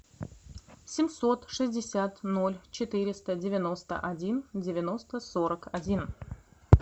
семьсот шестьдесят ноль четыреста девяносто один девяносто сорок один